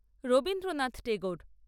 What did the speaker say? Rabindranath Tagore